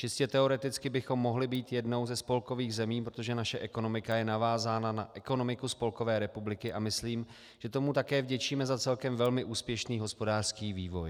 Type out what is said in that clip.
Čistě teoreticky bychom mohli být jednou ze spolkových zemí, protože naše ekonomika je navázána na ekonomiku Spolkové republiky, a myslím, že tomu také vděčíme za celkem velmi úspěšný hospodářský vývoj.